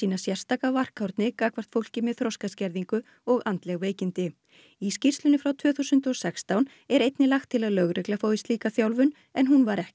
sérstaka varkárni gagnvart fólki með þroskaskerðingu og andleg veikindi í skýrslunni frá tvö þúsund og sextán er einnig lagt til að lögregla fái slíka þjálfun en hún var ekki